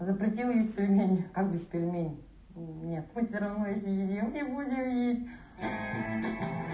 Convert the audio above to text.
запретил есть пельмени как без пельменей нет мы всё равно их едим и будет есть